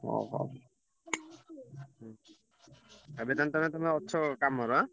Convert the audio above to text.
ଏବେ ତାହେଲେ ତମେ ଅଛ କାମରେ ହାଁ?